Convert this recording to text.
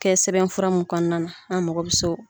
kɛ sɛbɛn fura mun kɔnɔna na an mago bɛ s'o